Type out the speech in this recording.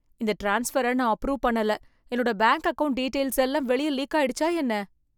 இந்த ட்ரான்ஸ்ஃபர நான் அப்ரூவ் பண்ணல. என்னோட பேங்க் அக்கவுண்ட் டீடெயில்ஸ் எல்லாம் வெளிய லீக் ஆயிடுச்சா என்ன?